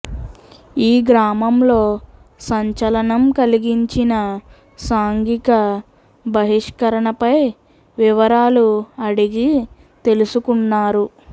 ఈ గ్రామంలో సంచలనం కలిగించిన సాంఘిక బహిష్కరణపై వివరాలు అడిగి తెలుసుకున్నారు